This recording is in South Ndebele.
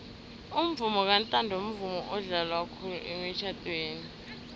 umvomo kantanto mvumo odlalwa khulu emitjhadweni